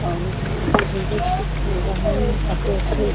और उधर देखिए जो भी सब बोल रहे हैं काफी